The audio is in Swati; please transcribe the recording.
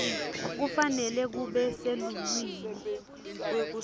kufanele kube seluhlwini